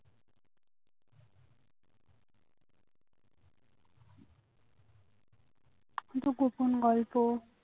গোপন গল্প